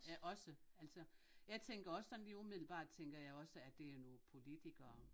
Ja også altså jeg tænker også sådan lige umiddelbart tænker jeg også at det er nogle politikere